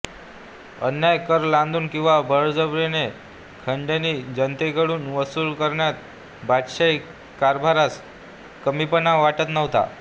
अन्याय्य कर लादून किंवा बळजबरीने खंडणी जनतेकडून वसूल करण्यात बादशाही कारभारास कमीपणा वाटत नव्हता